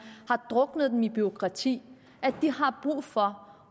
har druknet dem i bureaukrati har brug for